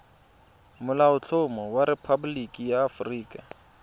molaotlhomo wa rephaboliki ya aforika